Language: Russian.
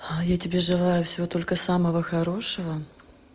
а я тебе желаю всего только самого хорошего